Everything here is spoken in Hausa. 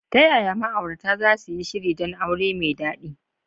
Ta yaya ma’aurata za su yi shiri don aure mai daɗi?